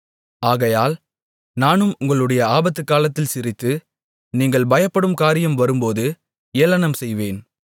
ஆகையால் நானும் உங்களுடைய ஆபத்துக்காலத்தில் சிரித்து நீங்கள் பயப்படும் காரியம் வரும்போது ஏளனம்செய்வேன்